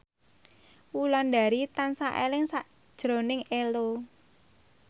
Wulandari tansah eling sakjroning Ello